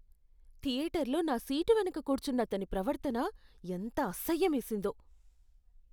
థియేటర్లో నా సీటు వెనుక కూర్చున్నతని ప్రవర్తన ఎంత అసహ్యమేసిందో.